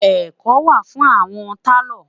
ẹkọ wà fún awọn talo